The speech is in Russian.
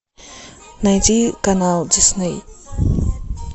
найди канал дисней